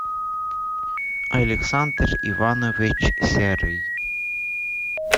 александр иванович серый